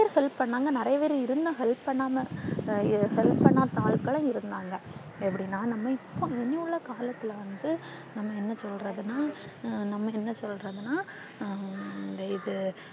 நிறையா பேரு help பண்ணாங்க நிறையா பேரு இருந்தும் help பண்ணாம help பண்ணாத ஆளுக்களா இருந்தாங்க எப்பிடினா நாம இப்ப இனி உள்ள காலத்துல வந்து நாம என்ன சொல்றதுனா நாம என்ன சொல்றதுனா ஆஹ் இது